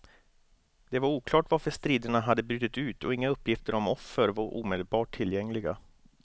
Det var oklart varför striderna hade brutit ut och inga uppgifter om offer var omedelbart tillgängliga.